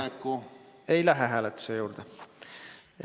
Selge, ei lähe hääletuse juurde.